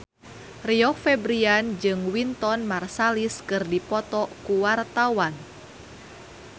Rio Febrian jeung Wynton Marsalis keur dipoto ku wartawan